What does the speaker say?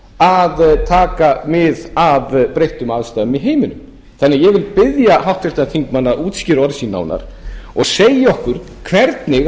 að taka mið af breyttum aðstæðum í heiminum þannig að ég vil biðja háttvirtan þingmann að útskýra orð sín nánar og segja okkur hvernig